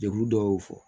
Jɛkulu dɔ y'o fɔ